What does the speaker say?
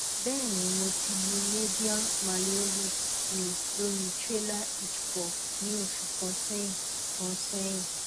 bẹẹ ni mo ti lu medial malleolus mi lori trailer hitch ball ni oṣu kan sẹyin kan sẹyin